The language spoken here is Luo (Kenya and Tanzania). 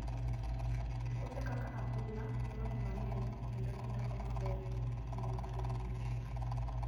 Puothe kaka adhula, dwaro pi mang'eny kendo gidongo maber e kinde ma piny ng'ich.